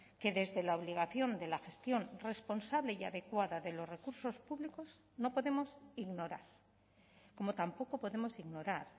que desde la obligación de la gestión responsable y adecuada de los recursos públicos no podemos ignorar como tampoco podemos ignorar